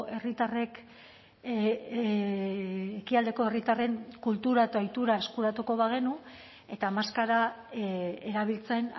herritarrek ekialdeko herritarren kultura eta ohitura eskuratuko bagenu eta maskara erabiltzen